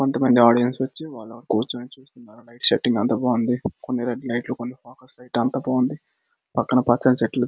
కొంతమంది ఆడియన్స్ వచ్చి అలా కూర్చుని చూస్తున్నారు. లైట్ సెట్టింగ్ అంతా బాగుంది . కొన్ని రెడ్డు లైట్లు కొన్ని ఫోకస్ లైట్లు అంతా బాగుంది. పక్కన పచ్చని చెట్లు--